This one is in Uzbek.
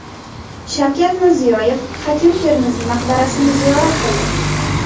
Shavkat Mirziyoyev Hakim Termiziy maqbarasini ziyorat qildi .